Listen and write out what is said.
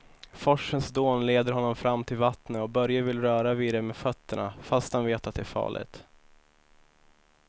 Forsens dån leder honom fram till vattnet och Börje vill röra vid det med fötterna, fast han vet att det är farligt.